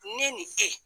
Ne ni e